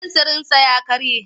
Fensirinsa ya karye.